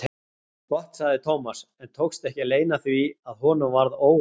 Gott sagði Thomas en tókst ekki að leyna því að honum varð órótt.